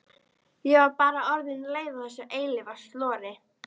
Ég var bara orðin leið á þessu eilífa slori.